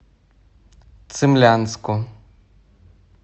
цимлянску